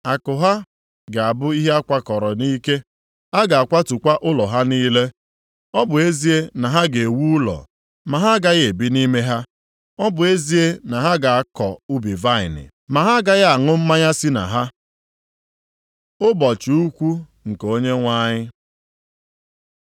Akụ ha ga-abụ ihe a kwakọrọ nʼike, a ga-akwatukwa ụlọ ha niile. Ọ bụ ezie na ha ga-ewu ụlọ, ma ha agaghị ebi nʼime ha; ọ bụ ezie na ha ga-akọ ubi vaịnị, ma ha agaghị aṅụ mmanya si na ha.” Ụbọchị ukwu nke Onyenwe anyị